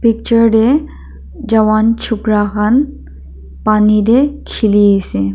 picture de jawan chukara khan pani de khili ase.